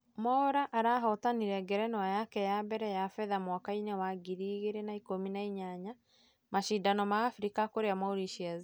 mwaura arahotanire ngerenwa yake ya mbere ya fedha mwaka-inĩ wa ngiri igĩri na ikũmi na inyanya , mashidano ma africa kũria Mauritius